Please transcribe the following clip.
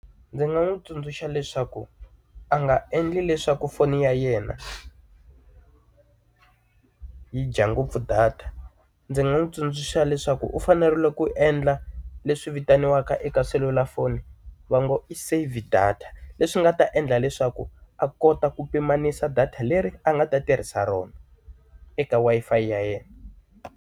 Ndzi nga n'wi tsundzuxa leswaku a nga endli leswaku foni ya yena yi dya ngopfu data ndzi nga n'wi tsundzuxa leswaku u fanerile ku endla leswi vitaniwaka eka selulafoni va ngo i save data leswi nga ta endla leswaku a kota ku pimanisa data leri a nga ta tirhisa rona eka Wi-Fi ya yena.